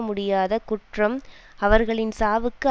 முடியாத குற்றம் அவர்களின் சாவுக்கு